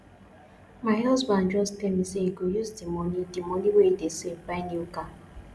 my husband just tell me say he go use the money the money wey he dey save buy new car